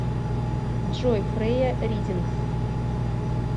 джой фрея ридингс